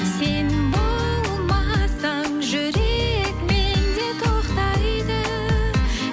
сен болмасаң жүрек менде тоқтайды